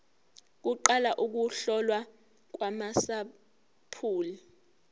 kuqala ukuhlolwa kwamasampuli